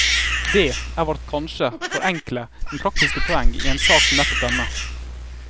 Dét er vårt kanskje for enkle, men praktiske poeng i en sak som nettopp denne.